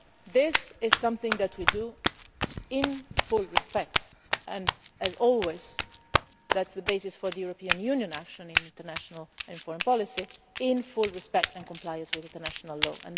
stand. This is something that we do in full respect and, as always, that is the basis for the European Union's action in international and foreign policy, in full respect of, and compliance with, international